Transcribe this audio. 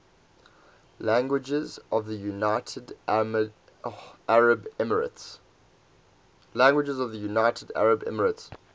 languages of the united arab emirates